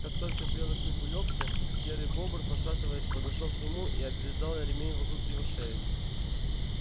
как только белый клык улёгся серый бобр пошатываясь подошёл к нему и обвязал ремень вокруг его шеи